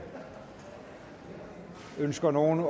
ønsker nogen